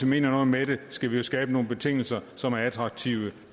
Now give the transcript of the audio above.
mener noget med det skal vi jo skabe nogle betingelser som er attraktive